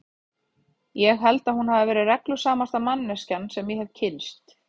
Ég held að hún hafi verið reglusamasta manneskjan sem ég hefi kynnst.